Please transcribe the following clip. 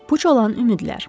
Puç olan ümidlər.